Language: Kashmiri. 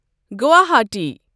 گواہاٹی